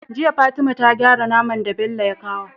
Jiya fatima ta gyara naman da Bello ya kawa